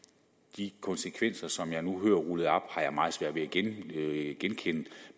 de konsekvenser som jeg nu hører blive rullet op har jeg meget svært ved at genkende